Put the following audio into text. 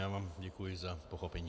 Já vám děkuji za pochopení.